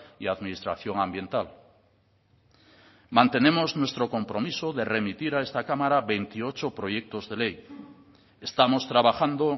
y administración ambiental mantenemos nuestro compromiso de remitir a esta cámara veintiocho proyectos de ley estamos trabajando